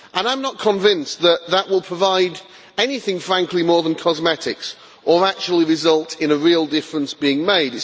And I'm not convinced, frankly, that that will provide anything more than cosmetics or actually result in a real difference being made.